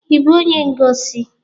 Ị bụ onye ngosi?